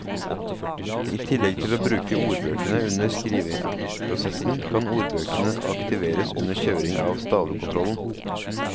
I tillegg til å bruke ordbøkene under skriveprosessen kan ordbøkene aktiveres under kjøring av stavekontrollen.